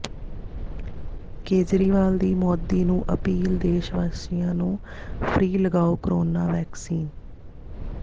ਕੇਜਰੀਵਾਲ ਦੀ ਮੋਦੀ ਨੂੰ ਅਪੀਲ ਦੇਸ਼ ਵਾਸੀਆਂ ਨੂੰ ਫ਼ਰੀ ਲਗਾਓ ਕੋਰੋਨਾ ਵੈਕਸੀਨ